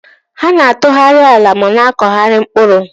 Ha na-atụgharị ala ma na-akụgharị mkpụrụ.